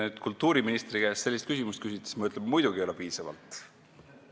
Kui te kultuuriministri käest sellise küsimuse küsite, siis ma ütlen, et muidugi ei ole raha piisavalt.